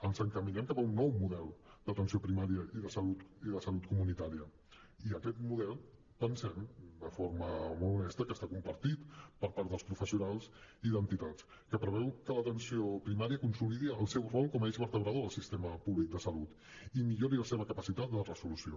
ens encaminem cap a un nou model d’atenció primària i de salut comunitària i aquest model pensem de forma molt honesta que està compartit per part dels professionals i d’entitats que preveu que l’atenció primària consolidi el seu rol com a eix vertebrador del sistema públic de salut i millori la seva capacitat de resolució